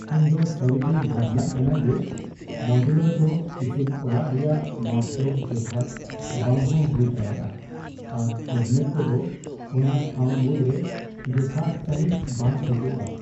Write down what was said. ᱤᱧᱫᱚ ᱥᱟᱹᱨᱤᱜᱮᱧ ᱵᱷᱟᱵᱽᱱᱟᱜ ᱠᱟᱱᱟ ᱡᱮ ᱢᱚᱰᱩᱞᱟᱨ ᱫᱚ ᱤᱥᱤᱱ ᱚᱲᱟᱜ ᱨᱮᱭᱟᱜ ᱢᱟᱯᱡᱳᱜ ᱡᱚᱛᱷᱟᱛ ᱵᱟᱝᱦᱚᱸ ᱦᱩᱭ ᱫᱟᱲᱮᱭᱟᱜᱼᱟ ᱟᱨ ᱠᱮᱹᱵᱤᱱᱮᱴ ᱠᱚᱫᱚ ᱚᱱᱟ ᱴᱷᱟᱶ ᱢᱩᱫᱽᱨᱮ ᱡᱚᱛᱷᱟᱛ ᱥᱟᱹᱦᱤᱡ ᱵᱟᱝ ᱯᱷᱤᱴᱚᱜᱼᱟ ᱾